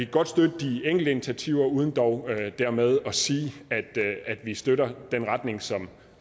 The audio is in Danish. godt støtte de enkelte initiativer uden dog dermed at sige at vi støtter den retning som